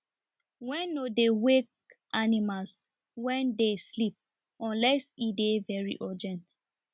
wen no dey wake animals wen dey sleep unless e dey very urgent